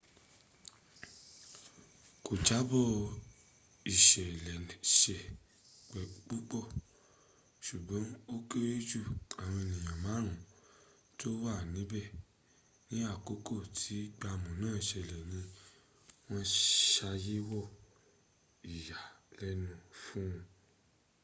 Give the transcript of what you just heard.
kò jábọ̀ ìṣeléṣe púpọ̀ ṣùgbọ́n ó kéré jù àwọn ènìyàn márùn tó wà níbẹ̀ ní àkókò tí gbàmù náà ṣẹlẹ̀ ní wọ́n ṣàyẹ̀wò ìyàlẹ́nu fún